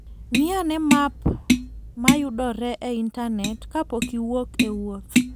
Ng'i ane map ma yudore e Intanet kapok iwuok e wuoth.